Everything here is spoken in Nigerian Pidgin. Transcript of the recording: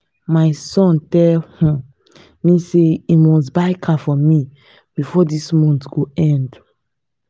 my son tell um me say he must buy car for me before dis month go end